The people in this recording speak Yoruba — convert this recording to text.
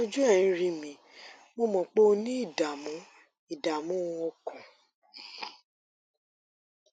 ojú ẹ ń rí mi mo mọ pé o ní ìdààmú ìdààmú ọkàn